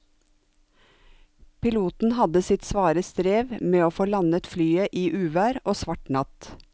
Piloten hadde sitt svare strev med å få landet flyet i uvær og svart natt.